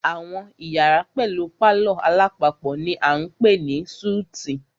Àwọn iyàrá pẹlú palọ̀ alápapọ̀ ni a ń pè ní súítì.